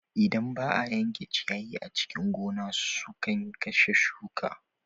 Idan ba a yanke ciyayi a cikin gona sukan kashe shuka.